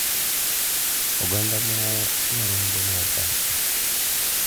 Oganda ma nyarombo mar Paska ,.